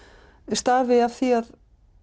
stafi af því að